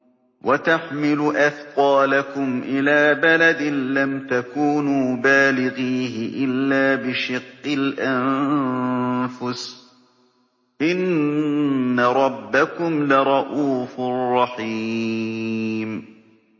وَتَحْمِلُ أَثْقَالَكُمْ إِلَىٰ بَلَدٍ لَّمْ تَكُونُوا بَالِغِيهِ إِلَّا بِشِقِّ الْأَنفُسِ ۚ إِنَّ رَبَّكُمْ لَرَءُوفٌ رَّحِيمٌ